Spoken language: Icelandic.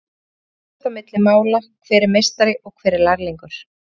Hér fer ekkert á milli mála hver er meistari og hver lærlingur.